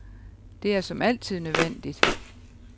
Det er som altid nødvendigt.